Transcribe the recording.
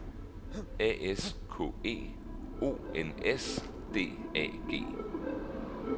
A S K E O N S D A G